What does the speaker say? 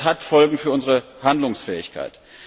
Das hat Folgen für unsere Handlungsfähigkeit.